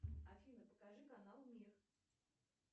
афина покажи канал мир